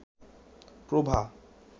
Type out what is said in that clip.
প্রভা